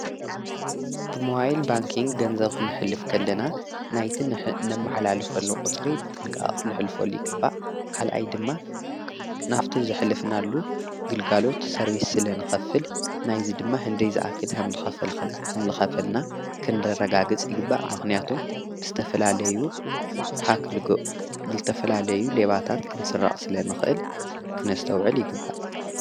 ብመዋይል ባንክን ገንዘውኽንሕልፍ ከለና ናይትን እነመኃላልፉሎ ቝጽሪ ብጥንቃ ኽንሕልፍሉ ይግባእ ካልኣይ ድማ ናፍቲ ዝኅልፍናሉ ግልጋሎት ሰርቢስ ስለ ንኸፍል ናይዝ ድማ ሕንደይ ዝኣክድ ሕምል ኸፈልና ኽንደረጋ ግጽ ይግባእ ምኽንያቶም ብስተፈላለዩ ሃክልጎ ብልተፈላለዩ ሌባታት ክንሥራቕ ስለ ንኽእል ክነስተውዕል ይግባእ።